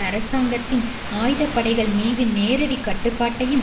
அரசாங்கத்தின் ஆயுத படைகள் மீது நேரடிக் கட்டுப்பாட்டையும்